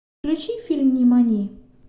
включи фильм нимани